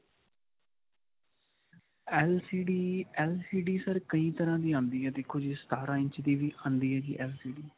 LCD LCD sir ਕਈ ਤਰ੍ਹਾਂ ਦੀ ਆਉਂਦੀ ਹੈ ਦੇਖੋ ਜੀ ਸਤਾਰਾਂ ਇੰਚ ਦੀ ਵੀ ਆਉਂਦੀ ਹੈ ਜੀ LCD